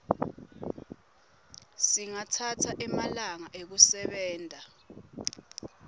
singatsatsa emalanga ekusebenta